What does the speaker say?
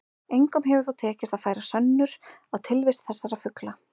Engum hefur þó tekist að færa sönnur á tilvist þessara fugla.